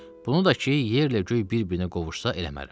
Bunu da ki, yerlə göy bir-birinə qovuşsa eləmərəm.